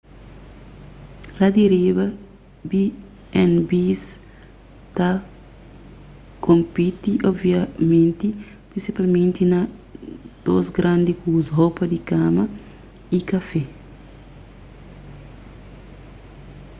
la di riba b&bs ta konpiti obviamenti prinsipalmenti na dôs grandi kuza ropa di kama y kafé